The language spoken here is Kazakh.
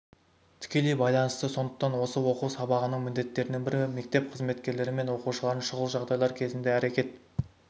тікелей байланысты сондықтан осы оқу-сабағынының міндеттерінің бірі мектеп қызметкерлері мен оқушыларын шұғыл жағдайлар кезінде әрекет